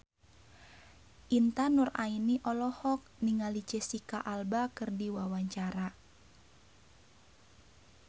Intan Nuraini olohok ningali Jesicca Alba keur diwawancara